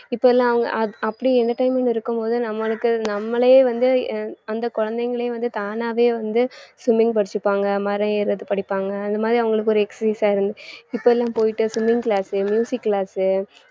இப்ப எல்லாம் அவுங்க அ~ அப்படி entertainment இருக்கும் போது நம்மளுக்கு நம்மளே வந்து அந்த குழந்தைகளையும் வந்து தானாவே வந்து swimming படிச்சுப்பாங்க, மரம் ஏறுறது படிப்பாங்க அந்த மாதிரி அவங்களுக்கு ஒரு exercise ஆ இப்ப எல்லாம் போயிட்டு swimming class உ class உ